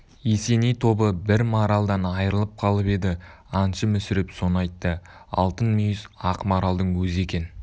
есеней тобы бір маралдан айрылып қалып еді аңшы мүсіреп соны айтты алтын мүйіз ақ маралдың өзі екен